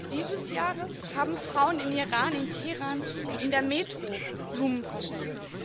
8. März dieses Jahres haben Frauen im Iran, in Teheran, in der Metro Blumen verschenkt.